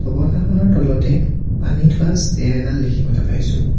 পৰ্দাখনৰ তলতে পানী থোৱা ষ্টেণ্ড এডাল দেখিবলৈ পাইছোঁ।